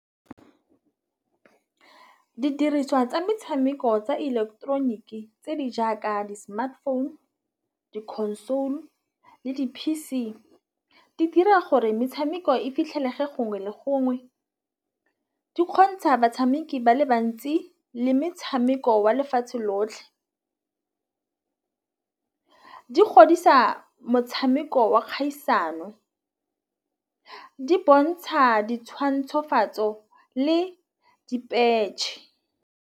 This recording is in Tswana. Didiriswa tsa metšhameko tsa ileketeroniki e tse di jaaka di-smartphone, di-console le di-P_C di dira gore metšhameko e fitlhelege gongwe le gongwe. Di kgontšha batšhameki ba le bantsi le metšhameko wa lefatšhe lotlhe. Di godisa motšhameko wa kgaisano di bontšha ditšhwantšhofatso le dipetšhe.